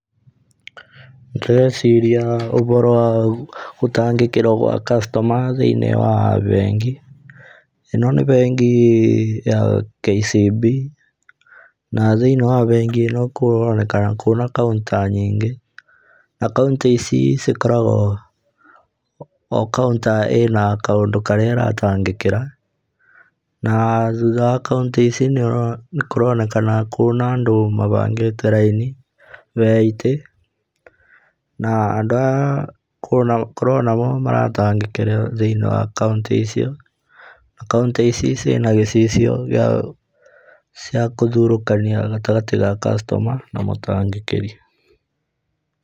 Ndĩreciria ũhoro wa gũtangĩkĩrwo gwa customer thĩiniĩ wa bengi, ĩno nĩ bengi ya KCB na thĩiniĩ wa bengi ĩno kũronekana kwĩna counter nyingĩ na counter ici cikoragwo o counter ĩrĩ na kaũndũ karĩa ĩratangĩkĩra na thutha wa counter ici nĩkũronekana kwĩna andũ mabangĩte raini ya itĩ na andũ aya kũronagwo maratangĩkĩrwo thĩiniĩ wa counter icio. Na counter ici ciĩna gĩcicia gĩa kũthurũkania gatagatĩ ga customer na mũtangĩkĩri.